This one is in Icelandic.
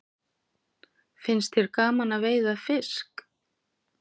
Finnst þér gaman að veiða fisk?